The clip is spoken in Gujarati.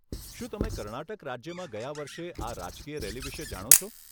શું તમે કર્ણાટક રાજ્યમાં ગયા વર્ષે આ રાજકીય રેલી વિશે જાણો છો?